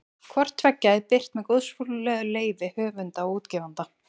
Hvort tveggja er birt með góðfúslegu leyfi höfunda og útgefanda.